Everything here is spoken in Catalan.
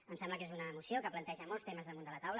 em sembla que és una moció que planteja molts temes damunt de la taula